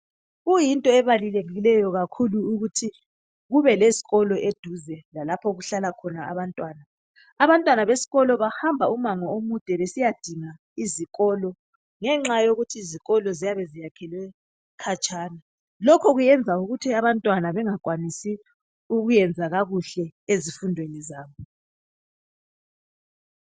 Kuyinto ebalulekileyo kakhulu ukuthi kube lezikolo eduze lalapha okuhlala khona abantwana abantwana besikolo bahamba ibanga elide besiyadinga izikolo ngenxa yokuthi izikolo ziyabe ziyakhelwe khatshana lokhu kuyayenza ukuthi abantwana bengakwanisi ukwenza kakuhle ezifundwen zabo